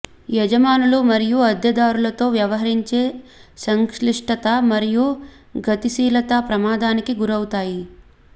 యజమానులు మరియు అద్దెదారులతో వ్యవహరించే సంక్లిష్టత మరియు గతిశీలత ప్రమాదానికి గురవుతాయి